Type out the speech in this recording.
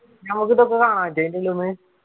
ഞമ്മക്ക് ഇതൊക്ക കാണാൻ പറ്റോ ആയിന്റ ഉള്ളിന്ന്